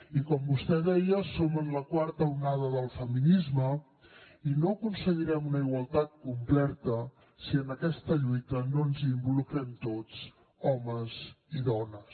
i com vostè deia som en la quarta onada del feminisme i no aconseguirem una igualtat completa si en aquesta lluita no ens hi involucrem tots homes i dones